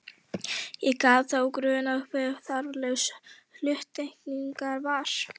Ekki gat þá grunað hve þarflaus hluttekningin var!